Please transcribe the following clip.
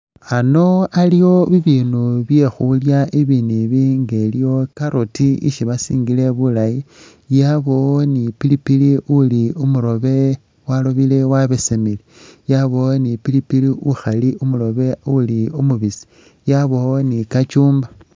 Ano aliwo bibinu bye khuulya, ibinu ibi nga iliwo carrot ishi basingile bulaayi, yabawo ne pili pili uli umuroobe warobele wabesemile, yabaawo ne pili pili ukhali umuroobe, uli umubiisi, yabaawo ne cucumber.